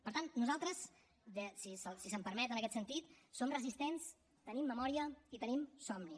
per tant nosaltres si se’m permet en aquest sentit som resistents tenim memòria i tenim somni